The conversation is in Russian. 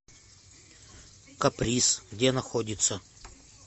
каприз где находится